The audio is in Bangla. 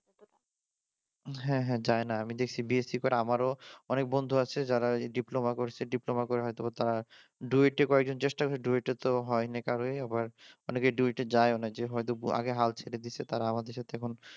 হ্যাঁ হ্যাঁ, যায়না আমি দেখছি বিএসসির পরে আমারও অনেক বন্ধু আছে যারা এই ডিপ্লোমা করছে ডিপ্লোমা করে হয়ত ডুয়েটে কয়েকজন চেষ্টা ডুয়েটে তো হয়নি কারোই আবার অনেকের ডুয়েটে তো যায়ই না, যে হয়ত আগে হাল ছেড়ে দিছে তারা আমাদের সাথে এখন